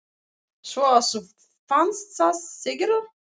Svo að þú fannst það, segirðu?